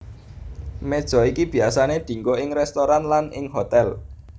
Meja iki biyasané dianggo ing restoran lan ing hotèl